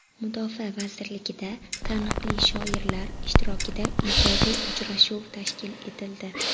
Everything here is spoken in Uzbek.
Mudofaa vazirligida taniqli shoirlar ishtirokida ijodiy uchrashuv tashkil etildi.